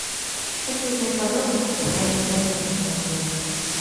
хочу узнать подробности про раннее бронирование в отеле